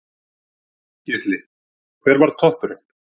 Gísli: Hver var toppurinn?